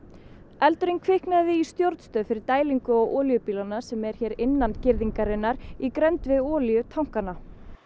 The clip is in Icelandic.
eldurinn kviknaði í stjórnstöð fyrir dælingu á olíubílana sem er hér innan girðingarinnar í grennd við olíutankana